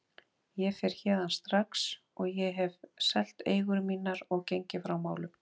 Ég fer héðan strax og ég hef selt eigur mínar og gengið frá málum.